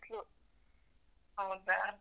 ಹೌದಾ?